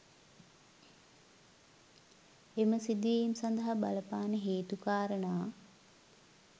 එම සිදුවීම් සඳහා බලපාන හේතු කාරණා